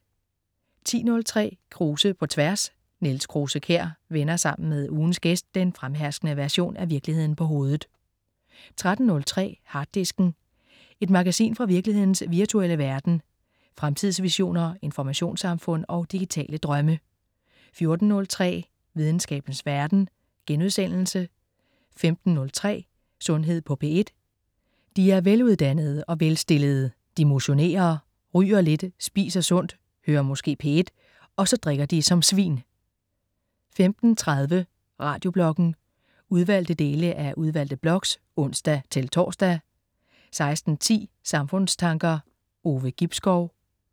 10.03 Krause på tværs. Niels Krause-Kjær vender sammen med ugens gæst den fremherskende version af virkeligheden på hovedet 13.03 Harddisken. Et magasin fra virkelighedens virtuelle verden. Fremtidsvisioner, informationssamfund og digitale drømme 14.03 Videnskabens verden* 15.03 Sundhed på P1. De er veluddannede og velstillede. De motionerer, ryger lidt, spiser sundt, hører måske P1, og så drikker de som svin 15.30 Radiobloggen. Udvalgte dele af udvalgte blogs (ons-tors) 16.10 Samfundstanker. Ove Gibskov